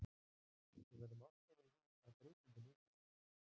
Við verðum að átta okkur á því að breyting er nauðsynleg.